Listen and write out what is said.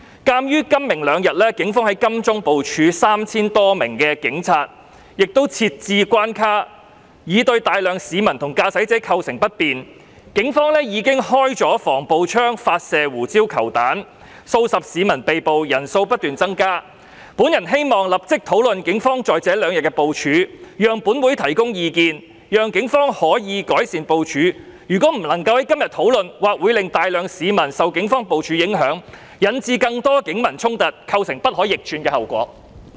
鑒於今、明兩天警方在金鐘部署 3,000 多名警察，亦設置關卡，已對大量市民和駕駛者構成不便，警方已經發射防暴槍和胡椒球彈，數十名市民被捕，被捕人數不斷增加，本人希望立即討論警方在這兩天的部署，讓本會提供意見，讓警方可以改善部署，如果不能夠在今天討論，或會令大量市民受警方部署影響，引致更多警民衝突，構成不可逆轉的後果。